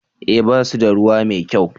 eh ba su da ruwa mai kyau